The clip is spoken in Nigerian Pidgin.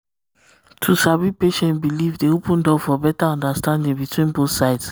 to sabi patient belief dey open door for um better um understanding between both sides